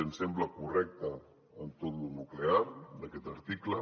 ens sembla correcte en tot lo nuclear aquest article